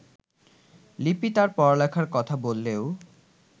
লিপি তার পড়াশোনার কথা বললেও